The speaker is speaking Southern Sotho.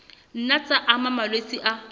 nna tsa ama malwetse a